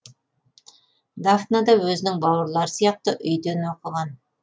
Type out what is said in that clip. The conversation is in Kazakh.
дафна да өзінің бауырлары сияқты үйден оқыған